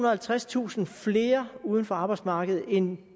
og halvtredstusind flere uden for arbejdsmarkedet end